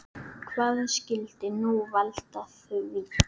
Hvað skyldi nú valda því?